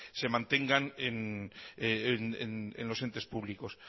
se mantenga en los entes públicos